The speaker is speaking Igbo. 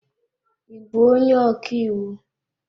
Ị bụ onye ọka iwu?